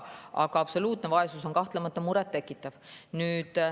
Aga absoluutne vaesus on kahtlemata muret tekitav.